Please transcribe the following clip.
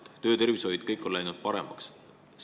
Nüüd on töötervishoid ja elu üldse läinud paremaks.